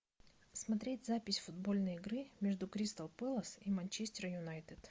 смотреть запись футбольной игры между кристал пэлас и манчестер юнайтед